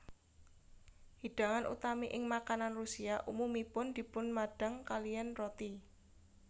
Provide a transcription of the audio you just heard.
Hidangan utami ing makanan Rusia umumipun dipunmadang kaliyan roti